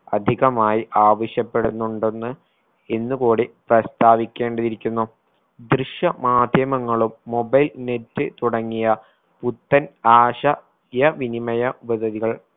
അധികമായി ആവശ്യപ്പെടുന്നുണ്ടെന്ന് ഇന്നുകൂടി പ്രസ്ഥാവിക്കേണ്ടതിരിക്കുന്നു ദൃശ്യ മാധ്യമങ്ങളും mobile net തുടങ്ങിയ പുത്തൻ ആശ യ വിനിമയ